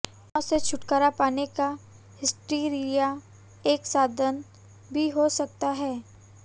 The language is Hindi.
तनाव से छुटकारा पाने का हिस्टीरिया एक साधन भी हो सकता है